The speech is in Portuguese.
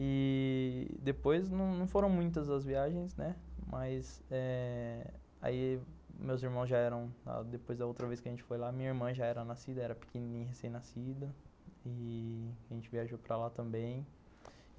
E... depois não foram muitas as viagens, mas eh aí meus irmãos já eram... Depois da outra vez que a gente foi lá, minha irmã já era nascida, era pequenininha, recém-nascida, e a gente viajou para lá também.